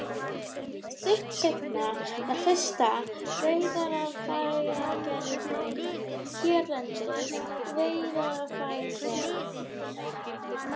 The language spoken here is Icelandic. Stuttu seinna var fyrsta veiðarfæragerðin hérlendis, Veiðarfæragerð